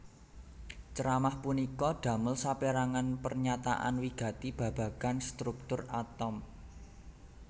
Ceramah punika damel sapérangan pernyataan wigati babagan struktur atom